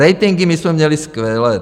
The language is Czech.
Ratingy my jsme měli skvělé.